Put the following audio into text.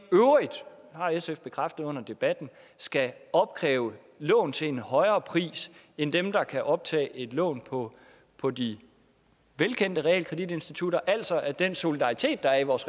har sf bekræftet under debatten skal opkræve lån til en højere pris end dem der kan optage et lån på på de velkendte realkreditinstitutter altså at den solidaritet der er i vores